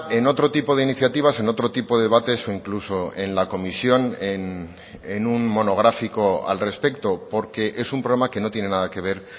en otro tipo de iniciativas en otro tipo de debates o incluso en la comisión en un monográfico al respecto porque es un problema que no tiene nada que ver